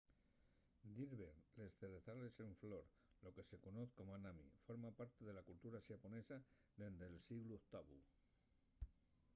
dir ver les zrezales en flor lo que se conoz como hanami forma parte de la cultura xaponesa dende’l sieglu octavu